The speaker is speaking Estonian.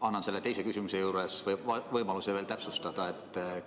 Ma annan oma küsimusega teile veel võimaluse täpsustada,